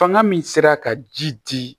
Fanga min sera ka ji di